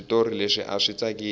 switori leswi aswi tsakisi